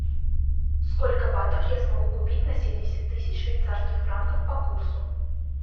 сколько батов я смогу купить на семьдесят тысяч швейцарских франков по курсу